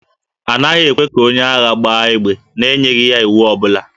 A naghị ekwe ka onye agha gbaa égbè n'enyeghị ya iwu ọ bụla